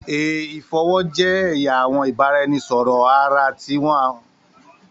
A ifọwọ jẹ ẹya awọn ibaraẹnisọrọ ara ti awọn baluwe